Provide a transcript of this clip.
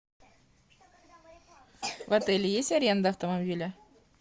в отеле есть аренда автомобиля